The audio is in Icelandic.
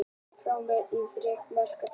Framför en þriggja marka tap